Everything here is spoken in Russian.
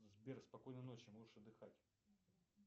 сбер спокойной ночи можешь отдыхать